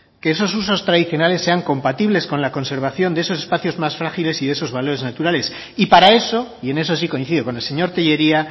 que esos usos tradicionales sean compatibles con la conservación de esos espacios más frágiles y de esos valores naturales y para eso y en eso sí coincido con el señor tellería